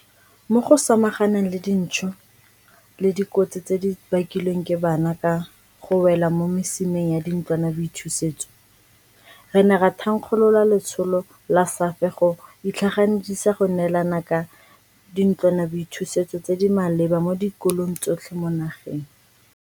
Mo go samaganeng le dintsho le dikotsi tse di bakilweng ke bana ka go wela mo mesimeng ya dintlwanaboithusetso, re ne ra thankgolola letsholo la SAFE go itlhaganedisa go neelana ka dintlwanaboithusetso tse di maleba mo dikolong tsotlhe mo nageng.